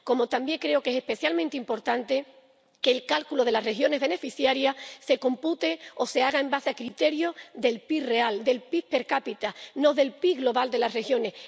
Como también creo que es especialmente importante que el cálculo de las regiones beneficiarias se compute o se haga con base en criterios del PIB real, del PIB per cápita, no del PIB global de las regiones.